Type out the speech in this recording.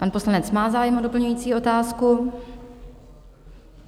Pan poslanec má zájem a doplňující otázku.